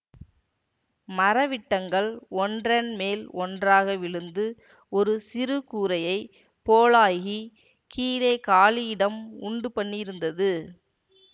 மர விட்டங்கள் ஒன்றன்மேல் ஒன்றாக விழுந்து ஒரு சிறு கூரையைப் போலாகிக் கீழே காலி இடம் உண்டுபண்ணியிருந்தது